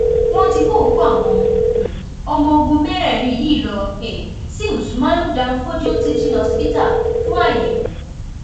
wọn ti kó òkú àwọn um ọmọọgùn mẹrẹẹrin yìí lọ um sí usmanu danfodiyo teaching hospital fún àyẹwò